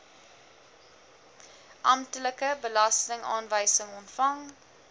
amptelike belastingaanwysing ontvang